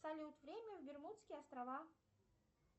салют время в бермудские острова